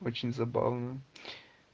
очень забавно